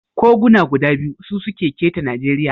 Koguna guda biyu su suke keta Najeriya.